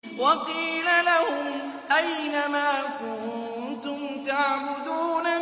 وَقِيلَ لَهُمْ أَيْنَ مَا كُنتُمْ تَعْبُدُونَ